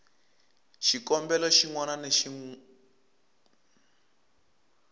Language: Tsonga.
xikombelo xin wana na xin